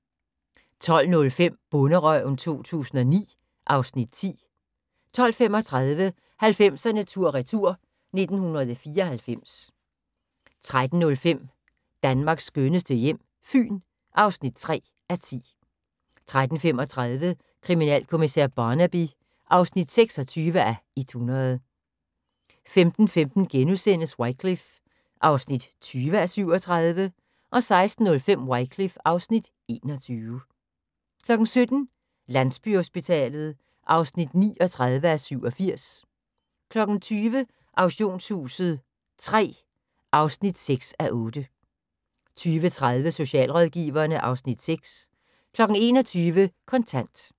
12:05: Bonderøven 2009 (Afs. 10) 12:35: 90'erne tur/retur: 1994 13:05: Danmarks skønneste hjem - Fyn (3:10) 13:35: Kriminalkommissær Barnaby (26:100) 15:15: Wycliffe (20:37)* 16:05: Wycliffe (21:37) 17:00: Landsbyhospitalet (39:87) 20:00: Auktionshuset III (6:8) 20:30: Socialrådgiverne (Afs. 6) 21:00: Kontant